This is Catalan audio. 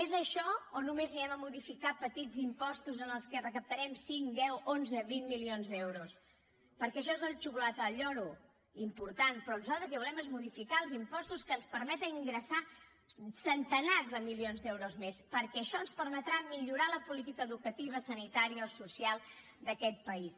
és això o només modificarem petits impostos amb què recaptarem cinc deu onze vint milions d’euros perquè això és la xocolata del lloro important però nosaltres el que volem és modificar els impostos que ens permeten ingressar centenars de milions d’euros més perquè això ens permetrà millorar la política educativa sanitària o social d’aquest país